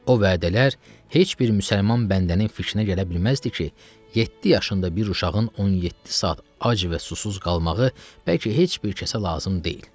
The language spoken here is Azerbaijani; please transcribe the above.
O vədələr heç bir müsəlman bəndənin fikrinə gələ bilməzdi ki, yeddi yaşında bir uşağın 17 saat ac və susuz qalmağı bəlkə heç bir kəsə lazım deyil.